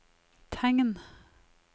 tegn